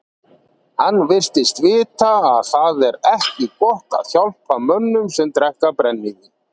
Hann virtist vita að það er ekki gott að hjálpa mönnum sem drekka brennivín.